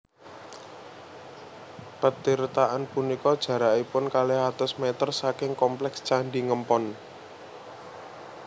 Petirtaan punika jarakipun kalih atus mèter saking komplèks Candhi Ngempon